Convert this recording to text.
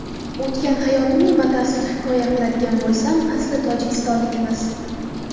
O‘tgan hayotimni batafsil hikoya qiladigan bo‘lsam, asli tojikistonlikmiz.